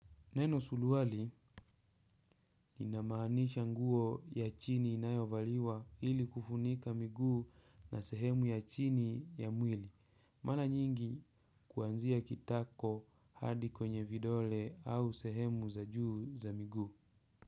Neno suruali ni namaanisha nguo ya chini inayovaliwa ili kufunika miguu na sehemu ya chini ya mwili. Mana nyingi kuanzia kitako hadi kwenye vidole au sehemu za juu za miguu.